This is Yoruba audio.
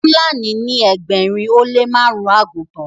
Fúlàní ní ẹgbẹrin o le marun àgùtàn